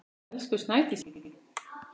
Elsku Snædís mín.